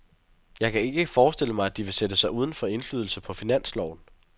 Jeg kan ikke forestille mig, at de vil sætte sig uden for indflydelse på finansloven.